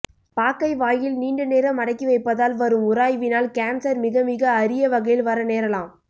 பாக்கை வாயில் நீண்ட நேரம் அடக்கி வைப்பதால் வரும் உராய்வினால் கான்செர் மிக மிக அரிய வகையில் வர நேரலாம்